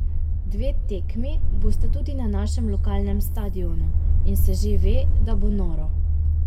Dve tekmi bosta tudi na našem lokalnem stadionu, in se že ve, da bo noro.